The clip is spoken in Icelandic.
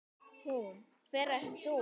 Hún: Hver ert þú?